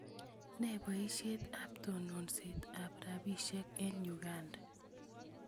Ne poisyet ap tononset ap rapisyek eng' Uganda?